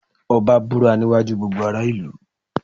Ọbá búra ní iwájú gbogbo ará ìlú.